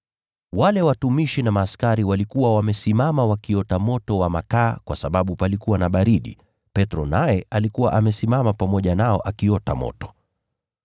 Wale watumishi na askari walikuwa wamesimama wakiota moto wa makaa kwa sababu palikuwa na baridi, Petro naye alikuwa amesimama pamoja nao akiota moto.